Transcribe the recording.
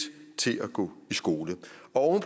til at gå i skole og